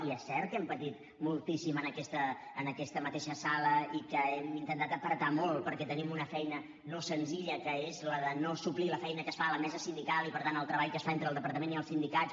i és cert que hem patit moltíssim en aquesta mateixa sala i que hem intentat apretar molt perquè tenim una feina no senzilla que és la de no suplir la feina que es fa a la mesa sindical i per tant el treball que es fa entre el departament i els sindicats